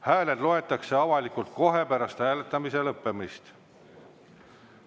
Hääled loetakse avalikult kohe pärast hääletamise lõppemist.